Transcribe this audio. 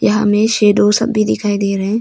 यहाँ में शैडो सब भी दिखाई दे रहे हैं।